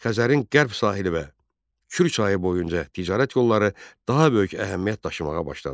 Xəzərin qərb sahili və Kür çayı boyunca ticarət yolları daha böyük əhəmiyyət daşımağa başladı.